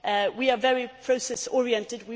We are very process oriented.